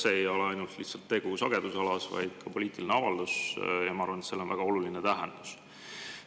See ei ole ainult sagedusalast, vaid ka poliitiline avaldus, ja ma arvan, et sellel on väga oluline tähendus.